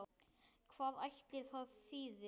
Hvað ætli það þýði?